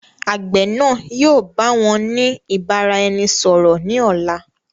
Àgbẹ̀ náà yìi ó báwọn ni ìbáraẹnisọọ̀rọ̀ ni ọ̀la.